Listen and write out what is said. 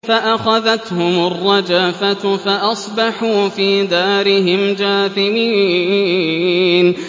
فَأَخَذَتْهُمُ الرَّجْفَةُ فَأَصْبَحُوا فِي دَارِهِمْ جَاثِمِينَ